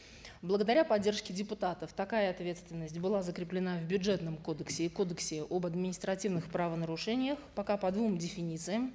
благодаря поддержке депутатов такая ответственность была закреплена в бюджетном кодексе и кодексе об административных правонарушениях пока по двум деффинициям